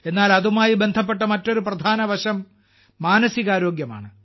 എന്നാൽ അതുമായി ബന്ധപ്പെട്ട മറ്റൊരു പ്രധാന വശം മാനസിക ആരോഗ്യമാണ്